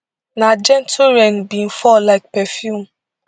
na gentle rain bin fall like perfume